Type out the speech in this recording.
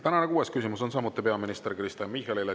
Tänane kuues küsimus on samuti peaminister Kristen Michalile.